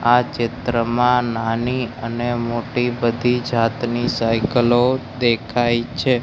આ ચિત્રમાં નાની અને મોટી બધી જાતની સાઇકલ ઓ દેખાય છે.